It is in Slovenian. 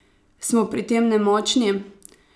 Smo pri tem nemočni?